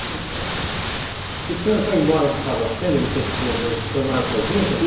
cinco O senhor foi embora de casa cedo, depois que o senhor foi morar sozinho?